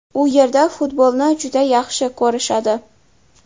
U yerda futbolni juda yaxshi ko‘rishadi.